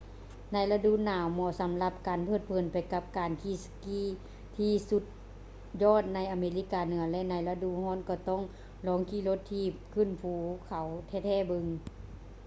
ໃນລະດູໜາວ ເໝາະສຳລັບການເພີດເພີນໄປກັບການຂີ່ສະກີທີ່ສຸດຍອດໃນອາເມລິກາເໜືອ ແລະ ໃນລະດູຮ້ອນກໍຕ້ອງລອງຂີ່ລົດຖີບຂຶ້ນພູເຂົາແທ້ໆເບິ່ງ